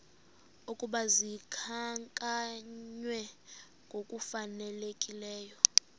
ukuba zikhankanywe ngokufanelekileyo